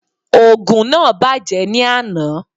Ògùn náà bàjẹ́ ní àná